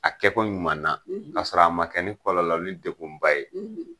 A kɛko ɲuman na, kasɔrɔ a ma kɛ ni kɔlɔlɔ ni dekun ba ye.